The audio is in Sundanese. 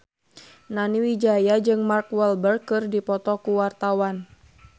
Nani Wijaya jeung Mark Walberg keur dipoto ku wartawan